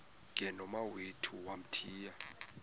ke nomawethu wamthiya